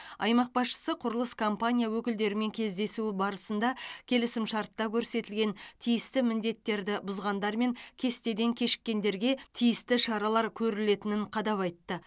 аймақ басшысы құрылыс компания өкілдерімен кездесуі барысында келісім шартта көрсетілген тиісті міндеттерді бұзғандар мен кестеден кешіккендерге тиісті шаралар көрілетінін қадап айтты